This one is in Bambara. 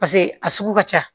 Paseke a sugu ka ca